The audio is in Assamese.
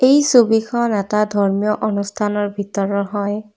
এই ছবিখন এটা ধৰ্মীয় অনুষ্ঠানৰ ভিতৰৰ হয়।